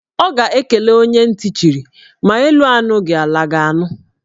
Ọ ga-ekele onye ntị chiri; ma elu anụghị, ala ga-anụ